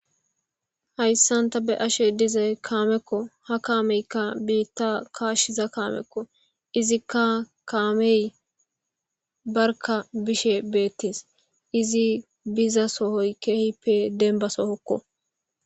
Hayssanta be ashe diza kaamekko ha kaameykka biitta kaashshiza kaamekko izikka kaamey barka bishe beettes izi biza sohoy keehippe denbasohokko.